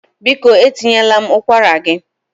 Biko etinyela m ụkwara gị